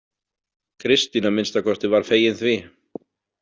Kristín að minnsta kosti var fegin því.